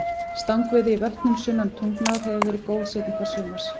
Stangveiði í vötnum sunnan Tungnár hefur verið góð seinni part sumars.